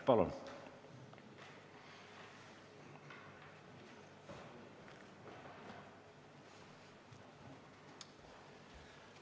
Palun!